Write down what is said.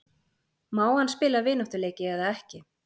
Má hann spila vináttuleiki eða ekki?